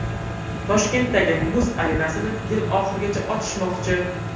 Toshkentdagi muz arenasini yil oxirigacha ochishmoqchi.